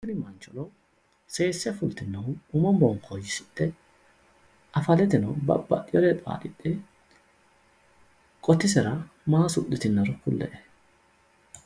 tini mancho seese fultinohu umo bonkooyyisidhe afaleteno babaxeewwore xaaxidhe qotisera maa suxxitinoro kulle''e.